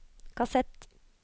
kassett